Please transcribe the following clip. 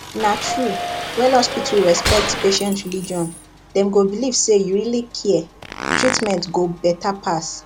na true when hospital respect patient religion dem go believe say you really care treatment go better pass